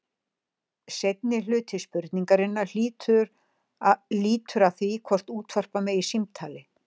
Seinni hluti spurningarinnar lýtur að því hvort útvarpa megi símtali.